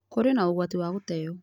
Kũrĩ na ũgwati wa gũteeo